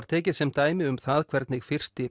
tekið sem dæmi um það hvernig fyrsti